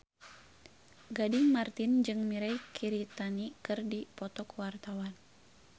Gading Marten jeung Mirei Kiritani keur dipoto ku wartawan